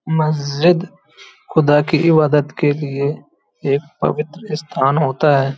मस्जिद खुदा की इबादत के लिए एक पवित्र स्थान होता है ।